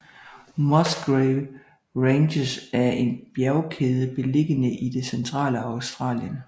Musgrave Ranges er en bjergkæde beliggende i det centrale Australien